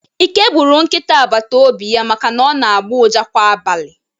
Ike gburu nkịta agbata obi ya maka na ọ na-agbọ ụja kwa abalị